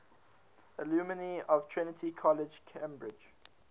alumni of trinity college cambridge